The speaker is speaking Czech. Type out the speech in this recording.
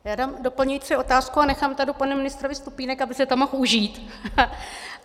Já dám doplňující otázku a nechám tady panu ministrovi stupínek, aby si to mohl užít .